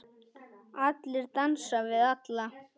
Allir dansa við alla.